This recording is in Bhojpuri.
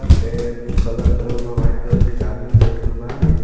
कलर करल बा व्हाइट एक आदमी बैठल बा.